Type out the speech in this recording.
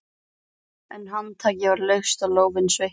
En handtakið var laust og lófinn sveittur.